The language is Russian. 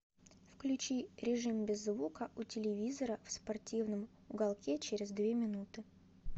включи режим без звука у телевизора в спортивном уголке через две минуты